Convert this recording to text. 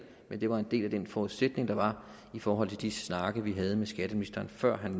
men det var en del af den forudsætning der var i forhold til de snakke vi havde med skatteministeren før han